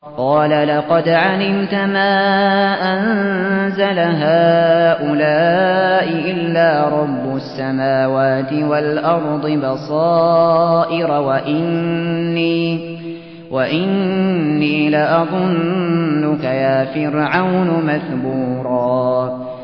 قَالَ لَقَدْ عَلِمْتَ مَا أَنزَلَ هَٰؤُلَاءِ إِلَّا رَبُّ السَّمَاوَاتِ وَالْأَرْضِ بَصَائِرَ وَإِنِّي لَأَظُنُّكَ يَا فِرْعَوْنُ مَثْبُورًا